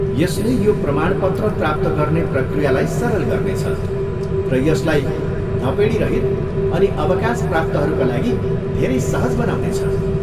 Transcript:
यसले यो प्रमाणपत्र प्राप्त गर्ने प्रक्रियालाई सरल गर्नेछ र यसलाई धपेडीरहित अनि अवकाशप्राप्तहरूका लागि धेरै सहज बनाउनेछ।